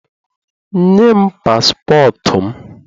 Nye m paspọtụ m